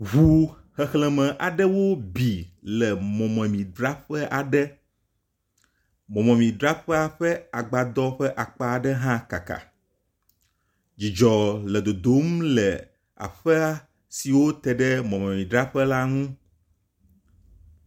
Ŋu xexleme aɖewo bi le mɔmemidzraƒe aɖe. mɔmemidzraƒea ƒe agbadɔ ƒe akpa aɖe hã kaka. Dzidzɔ le dodom le aƒe siwo te ɖe mɔmedzraƒe la nu.